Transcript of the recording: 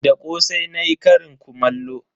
Da kosai nayi karin kumallo.